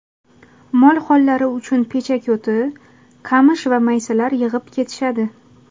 Mol-hollari uchun pechako‘ti, qamish va maysalar yig‘ib ketishadi.